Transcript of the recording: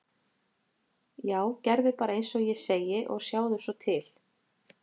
Já, gerðu bara eins og ég segi og sjáðu svo til.